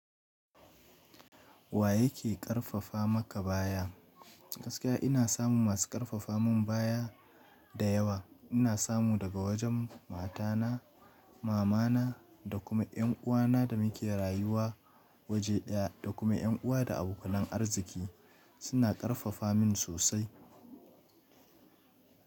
Wa yake ƙarfafa maka baya? Gaskiya ina samun masu ƙarfafa mun baya da yawa. Ina samu daga wajen matana, mamana da kuma ƴanuwana da muke rayuwa waje ɗaya da kuma ƴan uwa da abokan arziki suna ƙarfafa min sosai.